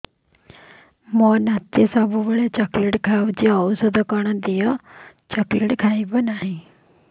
ମୋ ନାତି ସବୁବେଳେ ଚକଲେଟ ଖାଉଛି ଔଷଧ କଣ ଦିଅ ଆଉ ଚକଲେଟ ଖାଇବନି